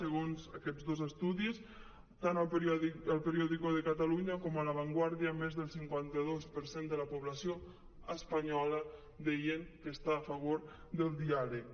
segons aquests dos estudis tant a el periódico de catalunya com a la vanguardia més del cinquanta dos per cent de la població espanyola deia que està a favor del diàleg